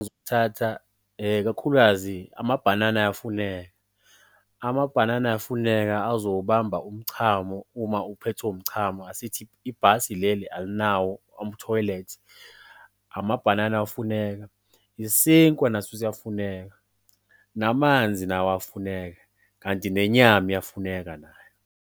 kakhulukazi amabhanana ayafuneka. Amabhanana ayafuneka azowubamba umchamo uma uphethwe umchamo, asithi ibhasi leli alinawo thoyilethi. Amabhanana awafuneka, isinkwa naso siyafuneka, namanzi nawo awafuneka kanti nenyama iyafuneka nayo.